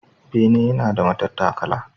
Bene yana da matattakala.